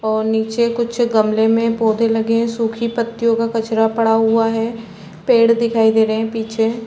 और नीचे कुछ गमले में पौधे लगे है सुखी पत्तियों का कचरा पड़ा हुआ है पेड़ दिखाई दे रहे है पीछे --